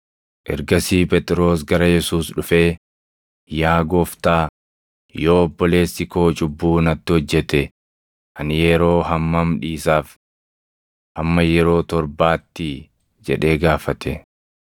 Ergasii Phexros gara Yesuus dhufee, “Yaa Gooftaa, yoo obboleessi koo cubbuu natti hojjete ani yeroo hammam dhiisaaf? Hamma yeroo torbaattii?” jedhee gaafate.